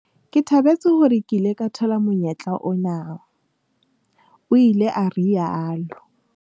"Ke thabetse hore ke ile ka thola monyetla ona," o ile a rialo.